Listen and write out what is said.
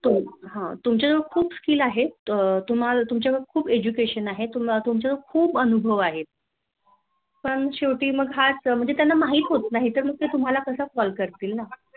तुमच्या जवळ खूप Skill आहे तुमच्या जवळ Educationn आहे तुमच्या जवळ खूप अनुभव आहे. पण शेवटी हाच कि त्यांना माहीत होत नाही मग ते तुम्हाला कस Call करतील न